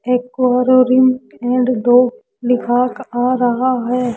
Aquarium and dog दिखा आ रहा है।